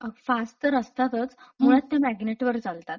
अ.. fast तर असतातच मुळात त्या मॅग्नेट वर चालतात.